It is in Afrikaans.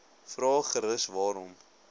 vra gerus waarom